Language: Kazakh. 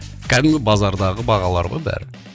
кәдімгі базардағы бағалар ғой бәрі